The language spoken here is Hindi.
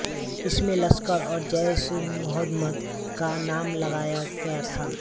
इसमें लश्कर और जैशएमुहम्मद का नाम लगाया गया था